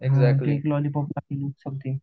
lollipop something